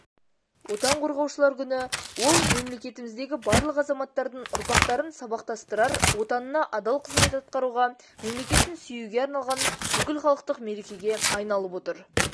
отан қорғаушылар күні ол мемлекетіміздегі барлық азаматтардың ұрпақтарын сабақтастырар отанына адал қызмет атқаруға мемлекетін сүюге арналған бүкілхалықтық мерекеге айналып отыр